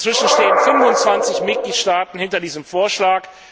Inzwischen stehen 25 Mitgliedstaaten hinter diesem Vorschlag.